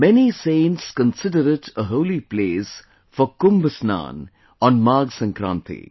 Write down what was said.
Many saints consider it a holy place for Kumbh Snan on Magh Sankranti